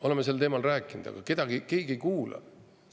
Oleme sellel teemal rääkinud, aga keegi ei kuula.